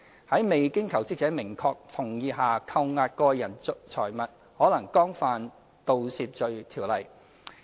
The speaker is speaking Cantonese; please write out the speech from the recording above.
在未經求職者明確同意下扣押個人財物，可能干犯《盜竊罪條例》。